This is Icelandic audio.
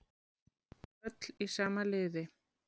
Öll í sama liði